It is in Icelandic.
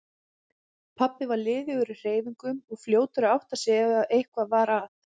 Pabbi var liðugur í hreyfingum og fljótur að átta sig ef eitthvað var að.